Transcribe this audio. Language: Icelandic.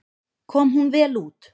Kom hún vel út.